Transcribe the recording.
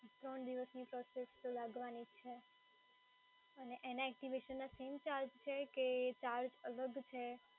ત્રણ દિવસની પ્રોસેસ તો લાગવાની જ છે અને એના એક્ટિવેશનના same ચાર્જ છે કે ચાર્જ અલગ છે?